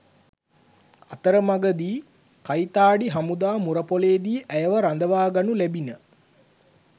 අතරමගදී කයිතාඩි හමුදා මුරපොලේදී ඇයව රදවා ගනු ලැබින